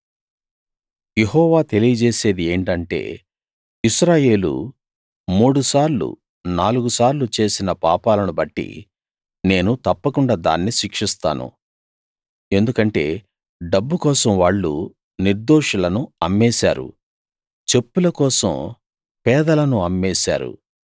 యెహోవా తెలియజేసేది ఏంటంటే ఇశ్రాయేలు మూడు సార్లు నాలుగు సార్లు చేసిన పాపాలను బట్టి నేను తప్పకుండా దాన్ని శిక్షిస్తాను ఎందుకంటే డబ్బు కోసం వాళ్ళు నిర్దోషులను అమ్మేశారు చెప్పుల కోసం పేదలను అమ్మేశారు